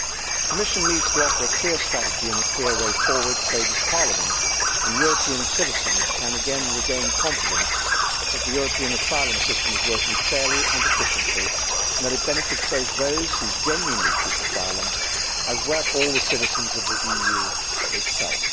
The Commission needs to offer a clear strategy and a clear way forward so this Parliament and European citizens can again regain confidence that the European asylum system is working fairly and efficiently and that it benefits both those who genuinely seek asylum and all the citizens of the EU itself.